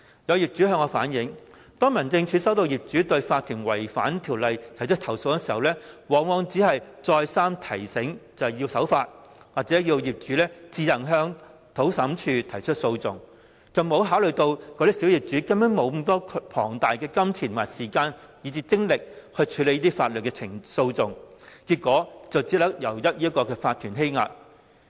有業主向我反映，當民政事務總署接獲業主就法團違反《條例》而提出投訴時，往往只是再三提醒法團必須守法，或要求業主自行向土地審裁處提出訴訟，完全沒有考慮小業主根本沒有大量金錢和時間、精力進行法律訴訟，結果只能任由法團欺壓。